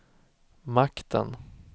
makten